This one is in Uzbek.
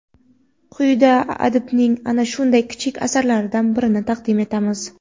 Quyida adibning ana shunday kichik asarlaridan birini taqdim etamiz.